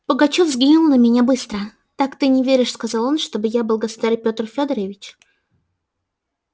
пугачёв взглянул на меня быстро так ты не веришь сказал он чтоб я был государь пётр фёдорович